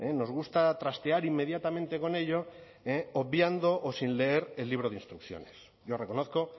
nos gusta trastear inmediatamente con ello obviando o sin leer el libro de instrucciones yo reconozco